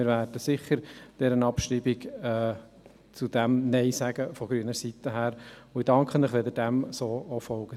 Wir werden zur Abschreibung sicher Nein sagen und danken Ihnen, wenn Sie dem so folgen.